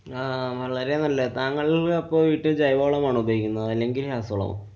അഹ് വളരെ നല്ലത്. താങ്കള്‍ അപ്പൊ വീട്ടില്‍ ജൈവവളമാണോ ഉപയോഗിക്കുന്നത്? അല്ലെങ്കില്‍ രാസവളമോ?